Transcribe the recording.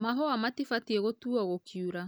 Mahũa matibatie gũtuo gũkiura .